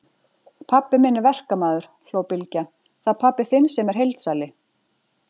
Pabbi minn er verkamaður, hló Bylgja, það er pabbi þinn sem er heildsali.